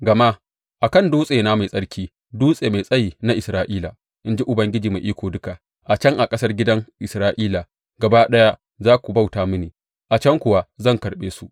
Gama a kan dutsena mai tsarki, dutse mai tsayi na Isra’ila, in ji Ubangiji Mai Iko Duka, a can a ƙasar gidan Isra’ila gaba ɗaya za su bauta mini, a can kuwa zan karɓe su.